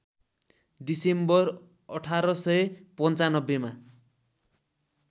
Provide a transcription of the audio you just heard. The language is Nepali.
डिसेम्बर १८९५ मा